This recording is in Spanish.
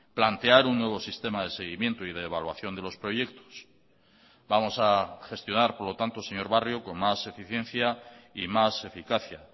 plantear un nuevo sistema de seguimiento y de evaluación de los proyectos vamos a gestionar por lo tanto señor barrio con más eficiencia y más eficacia